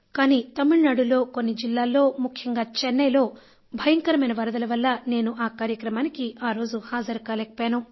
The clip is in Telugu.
కానీ తమిళనాడులో కొన్ని జిల్లాల్లో ముఖ్యంగా చెన్నైలో భయంకరమైన వరదల వల్ల నేను ఆ కార్యక్రమానికి ఆ రోజు హాజరు కాలేకపోయాను